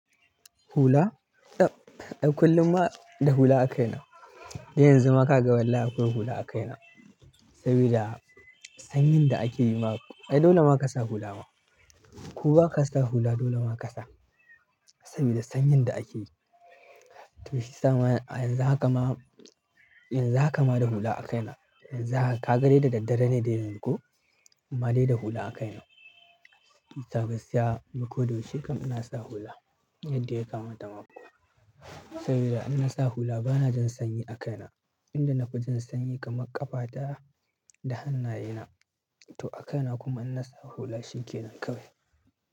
Hula? Kullum ma da hula a kaina. Yanzu ma ka ga wallahi akwai hula a kaina. Saboda sanyin da ake yi ma, ai dole ma ka sa hula ma. Ko ba ka sa hula dole ma ka sa. Saboda sanyin da ake yi. To shiyasa ma in za ka ma, in za ka ma da hula a kaina, in za ka gare da daddare ne dai ko, amma dai da hula a kaina. Ka ga siya biko da wuce kam ina sa hula yadda ya kamata maku. Saboda in na sa hula bana jin sanyi a kaina. Inda nafi jin sanyi kamar ƙafata da hanna ye na to a kaina kuma in na sa hula shinkenan kawai.